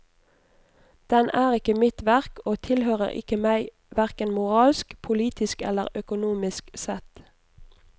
Den er ikke mitt verk, og tilhører ikke meg hverken moralsk, politisk eller økonomisk sett.